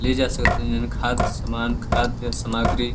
ले जा स तनी न्-खाद समान खादय् समाग्री --